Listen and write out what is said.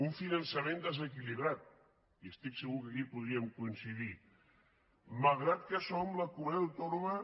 un finançament desequilibrat i estic que segur que aquí podríem coincidir malgrat que som la comunitat autònoma